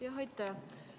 Jah, aitäh!